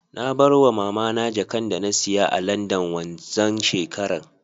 Nabarwa mamana jakanda nasiya a landan wanxan shekarar